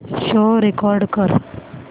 show record कर